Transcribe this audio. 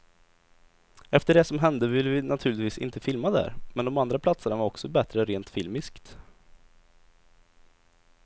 Efter det som hände ville vi naturligtvis inte filma där, men de andra platserna var också bättre rent filmiskt.